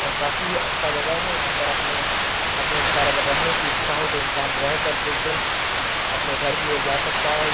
और काफी अच्छा जगह है यहां पर अपने अपने अनुसार अगर रहने की इच्छा हो तो इंसान रहकर कुछ दिन अपने घर की ओर जा सकता है या......